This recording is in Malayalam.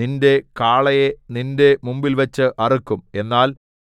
നിന്റെ കാളയെ നിന്റെ മുമ്പിൽവച്ച് അറുക്കും എന്നാൽ